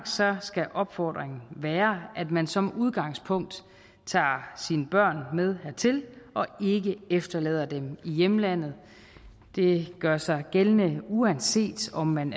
skal opfordringen være at man som udgangspunkt tager sine børn med hertil og ikke efterlader dem i hjemlandet det gør sig gældende uanset om man